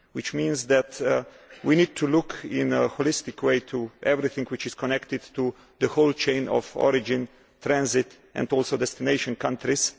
This means that we need to look in a holistic way at everything which is connected to the whole chain of origin, transit and destination countries.